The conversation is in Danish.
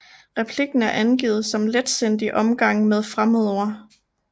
Replikken er angivet som letsindig omgang med fremmedord